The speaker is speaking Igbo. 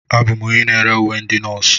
Abụ m onye na-ere uwe ndị nọọsụ.